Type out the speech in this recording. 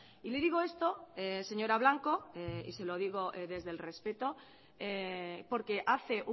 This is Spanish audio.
y le digo esto señora blanco y se lo digo desde el respeto porque hace